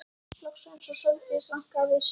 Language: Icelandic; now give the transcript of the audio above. Loks var eins og Sóldís rankaði við sér.